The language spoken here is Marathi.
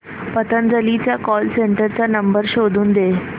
पतंजली च्या कॉल सेंटर चा नंबर शोधून दे